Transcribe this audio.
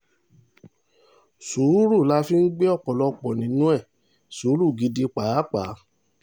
sùúrù la fi ń gbé ọ̀pọ̀lọpọ̀ nínú ẹ̀ sùúrù gidi pàápàá